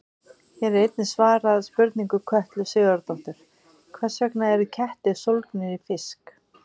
Hér er einnig svarað spurningu Kötlu Sigurðardóttur: Hvers vegna eru kettir sólgnir í fisk?